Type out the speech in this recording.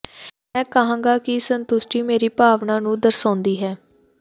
ਮੈਂ ਕਹਾਂਗਾ ਕਿ ਸੰਤੁਸ਼ਟੀ ਮੇਰੀ ਭਾਵਨਾ ਨੂੰ ਦਰਸਾਉਂਦੀ ਹੈ